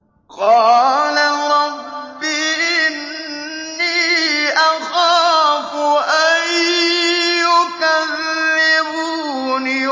قَالَ رَبِّ إِنِّي أَخَافُ أَن يُكَذِّبُونِ